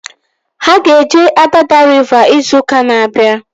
Ha ga-eje Adada riva izu ụka na-abịa